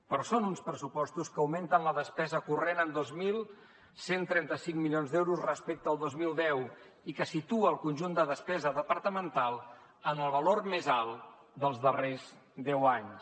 però són uns pressupostos que augmenten la despesa corrent en dos mil cent i trenta cinc milions d’euros respecte al dos mil deu i que situen el conjunt de despesa departamental en el valor més alt dels darrers deu anys